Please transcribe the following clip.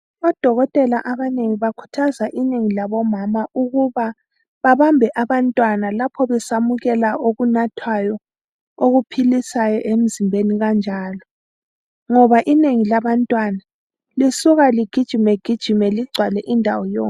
Odokotela abanengi bakhuthaza inengi labomama ukuba babambe abantwana lapho besamukela okunathwayo okuphilisayo emzimbeni kanjalo ngoba inengi labantwana lisuka ligijime gijime ligcwale indawo yonke.